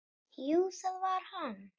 Jú, það var hann!